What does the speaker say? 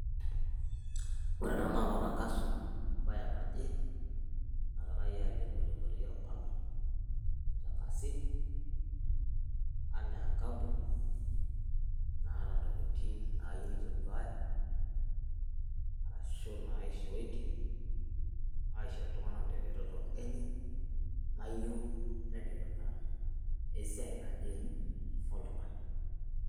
ore ena naa matankaso ebae naje nagirae alimu tenkoitoi orbala, itankasi anaa enkampuni naata ntokitin naayieu neitoduaaya, ashu naishootie aisho iltunganak.